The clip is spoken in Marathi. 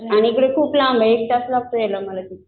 आणि ते खूप लांब आहे एक तास लागतो मला यायला.